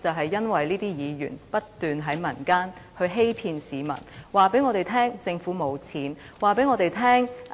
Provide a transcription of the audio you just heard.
便是因為這些議員不斷在民間欺騙市民，告訴我們政府沒有錢，告訴我們